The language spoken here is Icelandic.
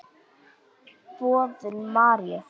Boðun Maríu.